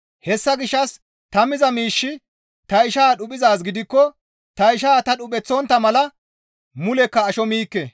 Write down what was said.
Hessa gishshas ta miza miishshi ta ishaa dhuphizaaz gidikko ta ishaa ta dhupheththontta mala mulekka asho miikke.